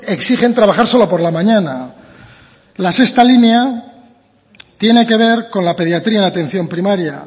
exigen trabajar solo por la mañana la sexta línea tiene que ver con la pediatría en atención primaria